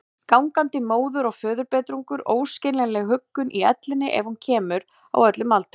Gangandi móður- og föðurbetrung, óskiljanlega huggun í ellinni ef hún kemur, á öllum aldri.